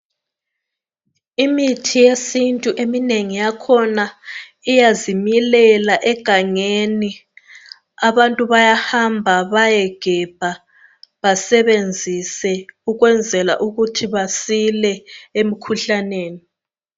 Imithi yesintu eminengi yakhona iyazimilela egangeni. Abantu bayahamba bayegebha basebenzise ukwenzela ukuthi basile emkhuhlaneni.